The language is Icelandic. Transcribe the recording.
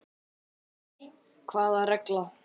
Fréttamaður: Hvaða regla?